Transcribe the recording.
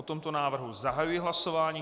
O tomto návrhu zahajuji hlasování.